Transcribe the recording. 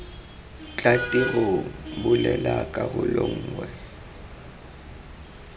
tla tirong bulela karolo nngwe